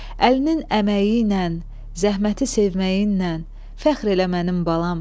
Əlinin əməyi ilə, zəhməti sevməyinlə fəxr elə mənim balam.